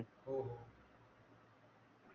हो हो